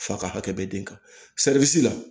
Fa ka hakɛ bɛ den kan la